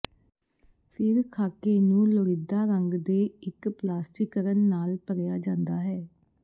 ਫਿਰ ਖਾਕੇ ਨੂੰ ਲੋੜੀਦਾ ਰੰਗ ਦੇ ਇੱਕ ਪਲਾਸਟਿਕਨ ਨਾਲ ਭਰਿਆ ਜਾਂਦਾ ਹੈ